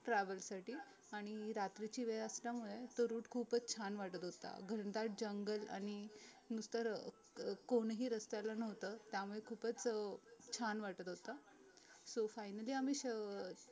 travel साठी आणि रात्रीची वेळ असल्यामुळे तो root खूपच छान वाटत होता घनदाट जंगल आणि इतर अं कोनही रस्त्याला नव्हत त्यामुळे खूपच अं छान वाटत होतं so finally आम्ही अं